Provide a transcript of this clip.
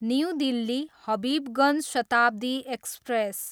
new Delhi, Habibganj Shatabdi express